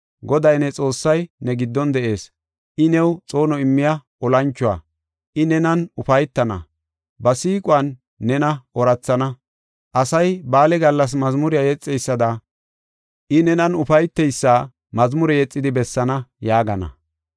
Goday, ne Xoossay ne giddon de7ees; I new xoono immiya olanchuwa. I nenan ufaytana; ba siiquwan nena oorathana. Asay ba7aale gallas mazmure yexeysada, I nenan ufayteysa mazmure yexidi bessaana” yaagana.